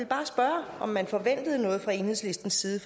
bare spørge om man forventede noget fra enhedslistens side